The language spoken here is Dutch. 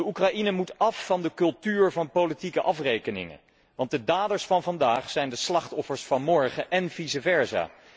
Oekraïne moet af van de cultuur van politieke afrekeningen, want de daders van vandaag zijn de slachtoffers van morgen, en vice versa.